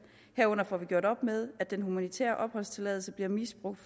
herunder får gjort op med at den humanitære opholdstilladelse bliver misbrugt